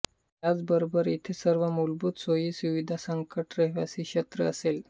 याबरोबरच इथे सर्व मूलभूत सोयीसुविधांसकट रहिवासी क्षेत्रही असेल